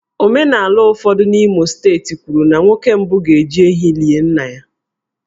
Omenala ụfọdụ n'Imo steeti kwuru na nwa nwoke mbụ ga-eji ehi lie nna ha